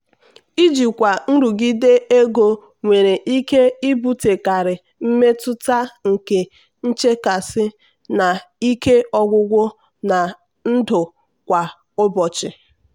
ijikwa nrụgide ego nwere ike ibutekarị mmetụta nke nchekasị na ike ọgwụgwụ na ndụ kwa ụbọchị.